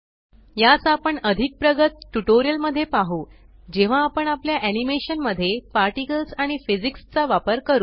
यास आपण अधिक प्रगत ट्यूटोरियल मध्ये पाहु जेव्हा आपण आपल्या एनिमेशन मध्ये पार्टिकल्स आणि फिजिक्स चा वापर करू